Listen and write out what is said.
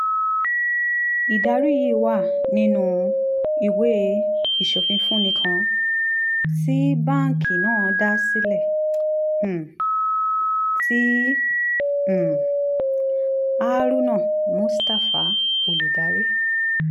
ìdarí yìí wà nínú ìwé ìsọfúnni kan tí báńkì náà dá sílẹ̀ um tí um haruna mustafa olùdarí